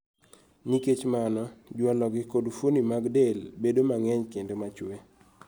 Nikech mano, jwalo gi kod fuoni mag del bedo mang'eny kendo machwe